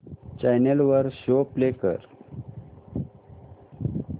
channel वर show play कर